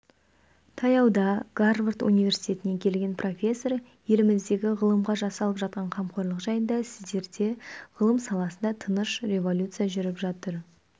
таяуда гарвард университетінен келген профессор еліміздегі ғылымға жасалып жатқан қамқорлық жайында сіздерде ғылым саласында тыныш революция жүріп жатыр